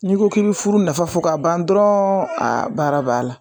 N'i ko k'i bɛ furu nafa fɔ ka ban dɔrɔn a baara b'a la